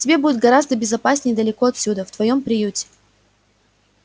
тебе будет гораздо безопаснее далеко отсюда в твоём приюте